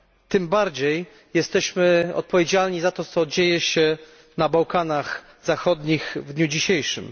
Tym bardziej jesteśmy odpowiedzialni za to, co dzieje się na Bałkanach Zachodnich w dniu dzisiejszym.